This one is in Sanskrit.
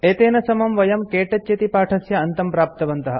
एतेन समं वयं के टच इति पाठस्य अन्तं प्राप्तवन्तः